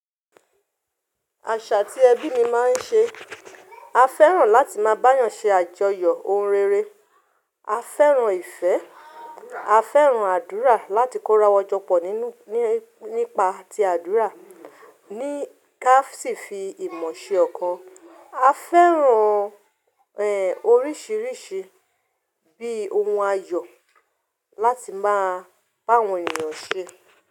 Àṣà tí ẹbí mi máa ń ṣe, a fẹ́ràn láti máa bá eeyàn ṣe àjọyọ̀ ohun rere, a fẹ́ràn ìfẹ́, a fẹ́ràn àdúrà láti kó ra wa jọ pọ̀ nínú nípa ti àdúrà, ní ká sì fi ìmọ̀ ṣe ọkàn. A fẹ́ràn, ẹ, oríṣìíríṣìí bíi ohun ayọ̀ láti máa bá àwọn ènìyàn ṣe.